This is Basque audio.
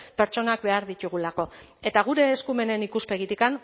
pertsonak behar ditugulako eta gure eskumenen ikuspegitik